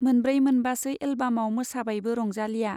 मोनब्रै मोनबासो एलबामाव मोसाबायबो रंजालीया।